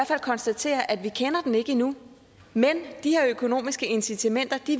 fald konstatere at vi ikke kender den endnu men de her økonomiske incitamenter